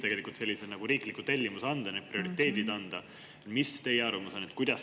Kes võiks sellise riikliku tellimuse anda, need prioriteedid?